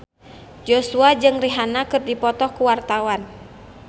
Joshua jeung Rihanna keur dipoto ku wartawan